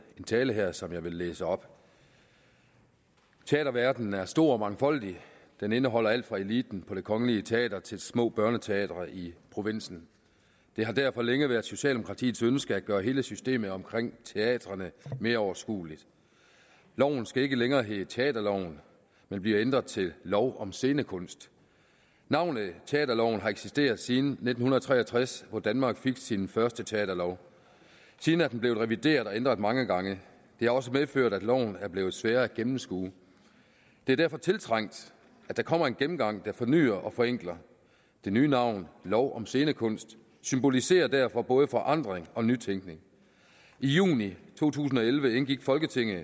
tale her som jeg vil læse op teaterverdenen er stor og mangfoldig den indeholder alt fra eliten på det kongelige teater til små børneteatre i provinsen det har derfor længe været socialdemokratiets ønske at gøre hele systemet omkring teatrene mere overskueligt loven skal ikke længere hedde teaterloven men bliver ændret til lov om scenekunst navnet teaterloven har eksisteret siden nitten tre og tres hvor danmark fik sin første teaterlov siden er den blevet revideret og ændret mange gange det har også medført at loven er blevet sværere at gennemskue det er derfor tiltrængt at der kommer en gennemgang der fornyer og forenkler det nye navn lov om scenekunst symboliserer derfor både forandring og nytænkning i juni to tusind og elleve indgik folketingets